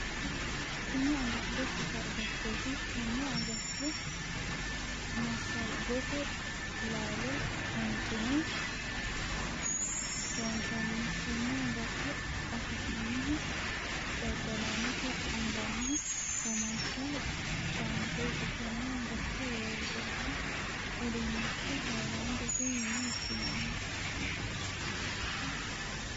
Tinni agatto shota agattooti. Tenne agatto masngote laallo huuncine loonsanni. Tenne agatto afi'nannihu dadalaanote anganni womaasha baanteeti. Tenne agatto woroonni uduunichi hayilaandete yinne woshinnanni.